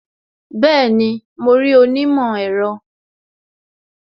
Bẹẹni, mo rí onímọ̀ ẹ̀rọ